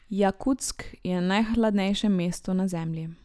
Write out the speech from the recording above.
Jakutsk je najhladnejše mesto na Zemlji.